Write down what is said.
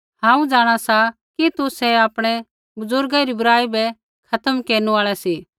हांऊँ जाँणा सा कि तुसै आपणै बुज़ुर्गा री बुराई बै खत्म केरनु आल़ै सी